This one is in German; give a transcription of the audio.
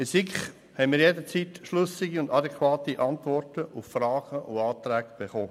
In der SiK hatten wir jederzeit schlüssige und adäquate Antworten auf Fragen und Anträge bekommen.